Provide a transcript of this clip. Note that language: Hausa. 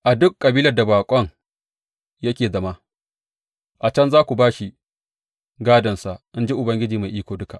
A duk kabilar da baƙon yake zama, a can za ku ba shi gādonsa, in ji Ubangiji Mai Iko Duka.